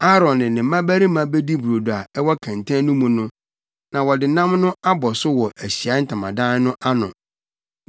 Aaron ne ne mmabarima bedi brodo a ɛwɔ kɛntɛn no mu no, na wɔde nam no abɔ so wɔ Ahyiae Ntamadan no ano.